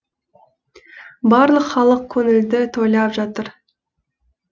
барлық халық көңілді тойлап жатыр